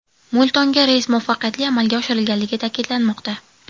Mo‘ltonga reys muvaffaqiyatli amalga oshirilganligi ta’kidlanmoqda.